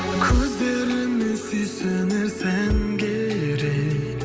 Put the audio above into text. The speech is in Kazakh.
көздеріңе сүйсінер сән керек